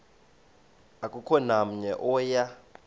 akukho namnye oya